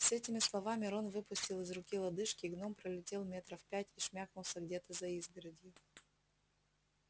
с этими словами рон выпустил из руки лодыжки гном пролетел метров пять и шмякнулся где-то за изгородью